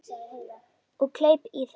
Og kleip í það.